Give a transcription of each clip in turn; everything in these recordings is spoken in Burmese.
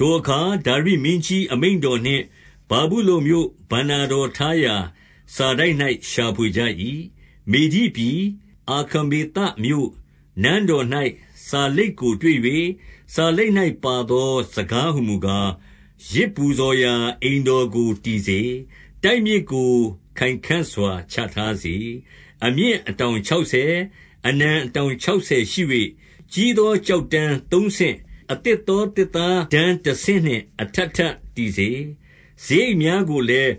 ထိုအခါ ဒါရိမင်းကြီးအမိန့်တော်နှင့် ဗာဗုလုန် မြို့ ဘဏ္ဍာတော်ထားရာစာတိုက်၌ ရှာဖွေကြ၏။ မေဒိပြည်၊ အာခမေသမြို့၊ နန်းတော်၌စာလိပ် ကို တွေ့၍၊ စာလိပ်၌ပါသော စကားဟူမူကား၊ ယဇ်ပူဇော်ရာ အိမ်တော်ကိုတည်စေ။ တိုက်မြစ် ကို ခိုင်ခံ့စွာချထားစေ။ အမြင့်အတောင်ခြောက်ဆယ်၊ အနံအတောင်ခြောက်ဆယ်ရှိ၍၊ ကြီးသောကျောက်တန်းသုံးဆင့်၊ အသစ်သော သစ်သားတန်းတဆင့်နှင့် အထပ်ထပ်တည်စေ။ စရိတ်များ ကိုလည်း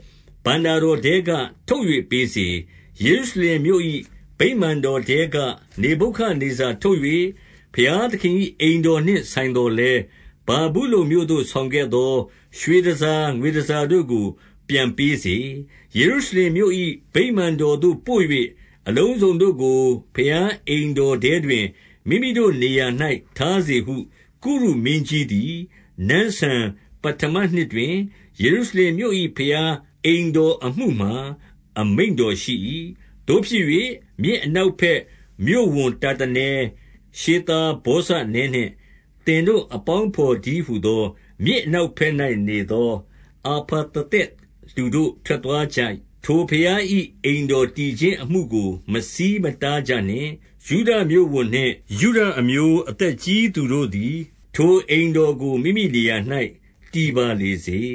ဘဏ္ဍာတော်ထဲက ထုတ်၍ပေးစေ။ ယေရုရှလင်မြို့၏ ဗိမာန်တော်ထဲကနေဗုခဒ် နေဇာထုတ်၍ ဘုရားသခင်၏အိမ်တော်နှင့် ဆိုင်သော် လည်း၊ ဗာဗုလုန်မြို့သို့ဆောင်ခဲ့သော ရွှေတန်ဆာ ငွေတန်ဆာတို့ကို ပြန်ပေးစေ။ ယေရုရှလင်မြို့၏ ဗိမာန် တော်သို့ ပို့၍ အလုံးစုံတို့ကို ဘုရားအိမ်တော်ထဲတွင် မိမိတို့နေရာ၌ ထားစေဟု ကုရုမင်းကြီးသည် နန်းစံ ပဌမနှစ်တွင်၊ ယေရုရှလင်မြို့၏ ဘုရားအိမ်တော်အမှု မှာ အမိန့်တော်ရှိ၏။ သို့ဖြစ်၍၊ မြစ်အနောက်ဘက် မြို့ဝန်တာတနဲ၊ ရှေသာဗောဇနဲနှင့် သင်တို့အပေါင်းအဘော်တည်း ဟူသော မြစ်အနောက်ဘက်၌နေသော အဖာသသက် လူတို့၊ ထွက်သွားကြ။ ထိုဘုရား၏အိမ်တော်တည်ခြင်း အမှုကိုမဆီးမတားကြနှင့်။ ယုဒမြို့ဝန်နှင့် ယုဒအမျိုး အသက်ကြီး သူတို့ သည် ထိုအိမ်တော်ကို မိမိနေရာ၌ တည်ပါလေစေ၊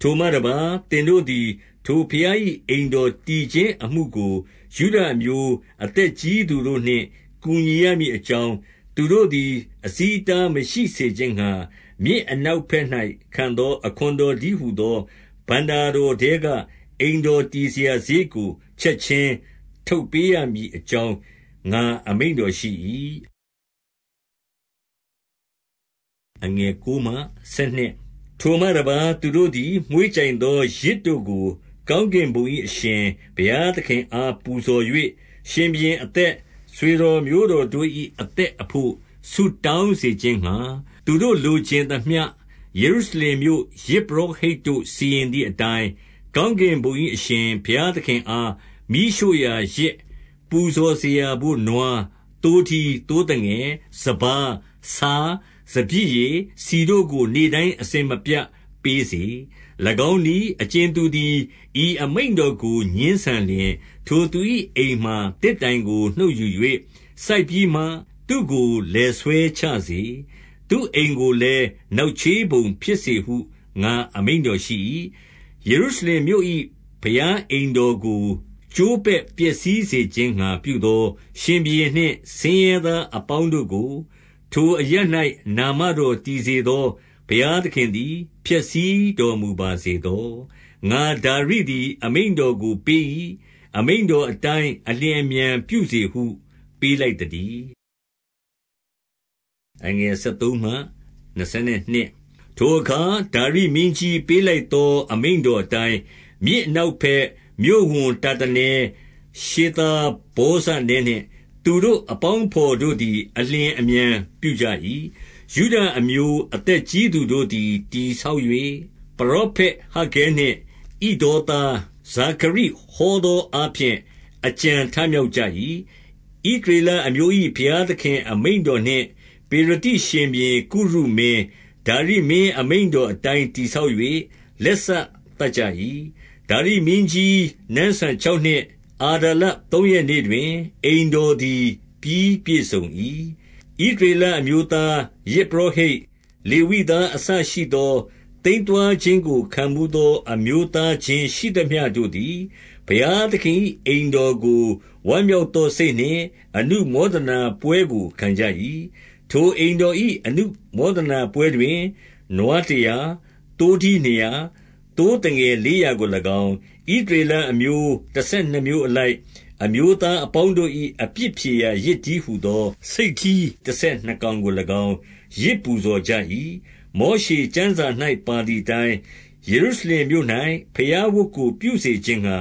ထိုမှတပါး၊ သင်တို့သည် ထိုဘုရား၏ အိမ်တော် တည်ခြင်းအမှုကို ယုဒအမျိုးအသက်ကြီးသူတို့နှင့် ကူညီ ရမည်အကြောင်း၊ သူတို့သည် အဆီးအတားမရှိစေခြင်းငှါ၊ မြစ်အနောက်ဘက်၌ ခံသောအခွန်တော်တည်း ဟူသော ဘဏ္ဍာတော်ထဲက အိမ်တော်တည်စရာစရိတ်ကို ချက် ခြင်းထုတ်ပေးရမည်အကြောင်း ငါအမိန့်တော်ရှိ၏။ ထိုမှတပါး၊ သူတို့သည် မွှေးကြိုင်သောယဇ်တို့ကို ကောင်းကင်ဘုံ၏အရှင် ဘုရားသခင်အား ပူဇော်၍၊ ရှင်ဘုရင်အသက်၊ ဆွေတော်မျိုးတော်တို့၏ အသက်အဘို့ ဆုတောင်းစေခြင်းငှါ၊ သူတို့လိုချင်သမျှ ယေရုရှလင်မြို့ ယဇ်ပုရောဟိတ်တို့ စီရင်သည်အတိုင်း၊ ကောင်းကင်ဘုံ၏အရှင် ဘုရားသခင်အား မီးရှို့ရာယဇ် ပူဇော်စရာဘို့နွား၊ သိုးထီး၊ သိုးသငယ်၊ စပါး၊ ဆား၊ စပျစ် ရည်၊ ဆီတို့ကိုနေ့တိုင်း အစဉ်အပြတ်ပေးစေ။ ၎င်းနည်း အကြင်သူသည် ဤအမိန့်တော်ကို ငြင်းဆန်လျှင်၊ ထိုသူ၏အိမ်မှ သစ်တိုင်ကို နှုတ်ယူ၍ စိုက်ပြီးမှ သူ့ကိုလည်း ဆွဲချစေ။ သူ့အိမ်ကိုလည်း နောက် ချေးပုံဖြစ်စေဟု ငါအမိန့်တော်ရှိ၏။ ယေရုရှလင်မြို့၏ ဘုရားအိမ်တော်ကို ကျိုးပဲ့ ပျက်စီးစေခြင်းငှါ ပြုသောရှင်ဘုရင်နှင့် ဆင်းရဲသား အပေါင်းတို့ကို၊ ထိုအရပ်၌ နာမတော်တည်စေသော ဘုရားသခင်သည် ဖျက်ဆီးတော်မူပါစေသော။ ငါဒါရိ သည် အမိန့်တော်ကိုပေး၏။ အမိန့်တော်အတိုင်း အလျင် အမြန်ပြုစေဟု ပေးလိုက်သတည်း။ ထိုအခါ ဒါရိမင်းကြီးပေးလိုက်သော အမိန့်တော် အတိုင်း၊ မြစ်အနောက်ဘက် မြို့ဝန်တာတနဲ၊ ရှေသာ ဗောဇနဲနှင့် သူတို့အပေါင်းအဘော်တို့သည် အလျင် အမြန်ပြုကြ၏။ ယုဒအမျိုးအသက်ကြီးသူတို့သည် တည်ဆောက် ၍၊ ပရောဖက်ဟဂ္ဂဲနှင့် ဣဒေါသားဇာခရိဟောသော အားဖြင့်၊ အကြံထမြောက်ကြ၏။ ဣသရေအမျိုး၏ ဘုရား သခင်အမိန့်တော်နှင့် ပေရသိရှင်ဘုရင်ကုရုမင်း၊ ဒါရိမင်း အမိန့်တော်အတိုင်း တည်ဆောက်၍ လက်စသတ်ကြ၏။ ဒါရိမင်းကြီးနန်းစံခြောက်နှစ်၊ အာဒါလသုံးရက် နေ့တွင် အိမ်တော်သည် ပြီးပြည့်စုံ၏။ ဣသရေလအမျိုးသား၊ ယဇ်ပုရောဟိတ်၊ လေဝိသားအစရှိသော သိမ်းသွားခြင်းကို ခံဘူးသော အမျိုးသားချင်းရှိသမျှတို့သည် ဘုရားသခင်၏ အိမ်တော် ကိုဝမ်းမြောက်သောစိတ်နှင့် အနုမောဒနာပွဲခံကြ၏။ ထိုအိမ်တော်၏ အနုမောဒနာပွဲတွင် နွားတရာ၊ သိုးထီးနှစ်ရာ၊ သိုးသငယ်လေးရာကို၎င်း၊ ဣသရေလအမျိုး တဆယ်နှစ်မျိုးအလိုက် အမျိုးသားအပေါင်းတို့၏ အပြစ် ဖြေရာ ယဇ်တည်းဟူသော ဆိတ်ထီးတဆယ် နှစ်ကောင် ကို၎င်း၊ ယဇ်ပူဇော်ကြ၏။ မောရှေကျမ်းစာ၌ ပါသည်အတိုင်း၊ ယေရု ရှလင်မြို့၌ ဘုရားဝတ်ကို ပြုစေခြင်းငှါ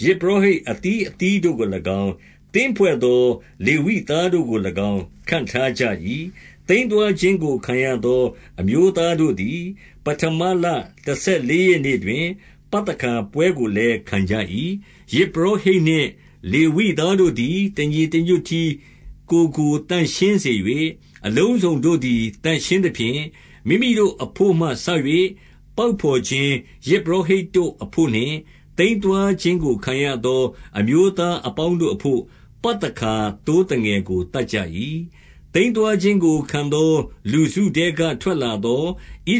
၊ ယဇ်ပုရောဟိတ် အသီးအသီးတို့ကို၎င်း၊ သင်းဖွဲ့သော လေဝိသားတို့ကို၎င်း ခန့်ထားကြ၏။ သိမ်းသွားခြင်းကို ခံရသောအမျိုးသားတို့သည် ပဌမလတဆယ်လေးရက်နေ့တွင် ပသခါပွဲကိုလည်း ခံကြ ၏။ ယဇ်ပုရောဟိတ်နှင့် လေဝိသားတို့သည် တညီ တညွတ်တည်း ကိုယ်ကိုသန့်ရှင်းစေ၍၊ အလုံးစုံတို့သည် သန့်ရှင်းသဖြင့်၊ မိမိတို့အဘို့မှစ၍ ပေါက်ဘော်ချင်း ယဇ်ပုရောဟိတ်တို့အဘို့နှင့် သိမ်းသွားခြင်းကိုခံရသော အမျိုးသားအပေါင်းတို့အဘို့ ပသခါသိုးသငယ်ကို သတ်ကြ ၏။ သိမ်းသွားခြင်းကိုခံသော လူစုထဲက ထွက်လာ သော ဣ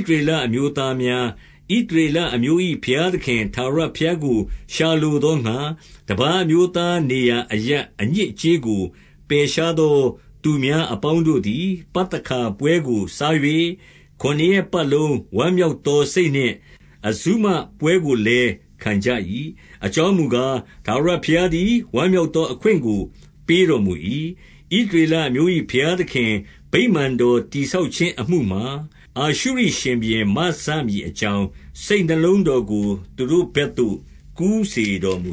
သရေလအမျိုးသားများ၊ ဣသရေလအမျိုး၏ ဘုရားသခင် ထာဝရဘုရားကို ရှာလိုသောငှါ၊ တပါး အမျိုးသား နေရာအရပ် အညစ်အကြေးကို ပယ်ရှားသော သူများအပေါင်းတို့သည် ပသခါပွဲကိုစား၍၊ ခုနစ်ရက်ပတ်လုံး ဝမ်းမြောက်သော စိတ်နှင့် အဇုမပွဲကိုလည်း ခံကြ၏အကြောင်းမူကား၊ ထာဝရ ဘုရားသည် ဝမ်းမြောက်သောအခွင့်ကို ပေးတော်မူ၏။ ဣသရေလအမျိုး၏ ဘုရားသခင်ဗိမာန်တော် တည် ဆောက်ခြင်းအမှုမှာ၊ အာရှုရိရှင်ဘုရင် မစမည် အကြောင်း၊ စိတ်နှလုံးတော်ကို သူတို့ဘက်သို့ ကူးစေ တော်မူ